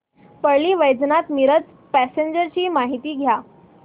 Parli Vaijnath Miraj passenger ची माहिती द्या